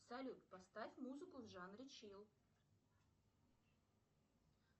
салют поставь музыку в жанре чил